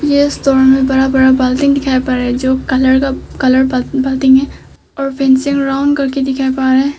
यह स्टोर में बड़ा बड़ा बाल्टी दिखाई पड़ रहा है जो कलर बाल्टी है और फेंसिंग रोड दिखा पा रहा है।